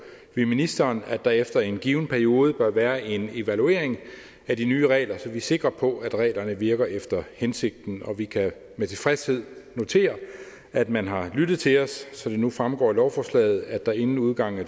vi ministeren at der efter en given periode bør være en evaluering af de nye regler så vi er sikre på at reglerne virker efter hensigten og vi kan med tilfredshed notere at man har lyttet til os så det nu fremgår af lovforslaget at der inden udgangen af